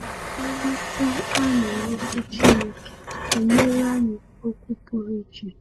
Ịghọta anyị n’Ọkwú Chineke enyela anyị okwu pụrụ iche.